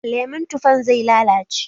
Lemon tufan zai lalace.